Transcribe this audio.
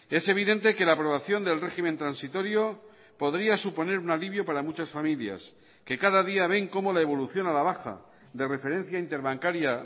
es evidente que la aprobación del régimen transitorio podría suponer un alivio para muchas familias que cada día ven cómo la evolución a la baja de referencia interbancaria